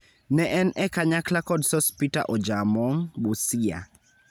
Ne en e kanyakla kod Sospeter Ojaamong (Busia),